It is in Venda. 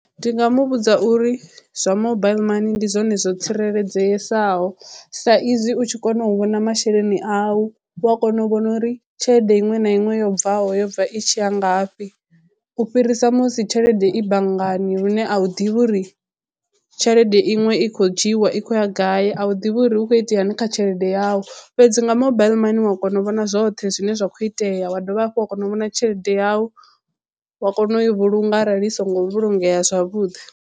Ndi nga mu vhudza uri zwa mobile money ndi zwone zwo tsireledzesaho sa izwi u tshi kona u vhona masheleni awu. U a kona u vhona uri tshelede iṅwe na iṅwe yo bvaho yobva i tshi ya ngafhi u fhirisa musi tshelede i banngani lune a u ḓivhi uri tshelede iṅwe i khou dzhiiwa i khou ya gai a u ḓivhi uri hu kho itea ni kha tshelede yau fhedzi nga mobile mani u wa kona u vhona zwoṱhe zwine zwa kho itea wa dovha hafhu wa kona u vhona tshelede yau wa kona u i vhulunga arali i songo vhulungea zwavhuḓi.